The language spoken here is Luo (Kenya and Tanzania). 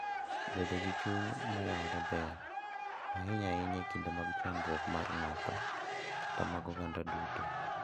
Bedo gi chuny maoyawore ber, ahinya ahinya e kinde mag chandruok mar ng'ato kata mag oganda duto,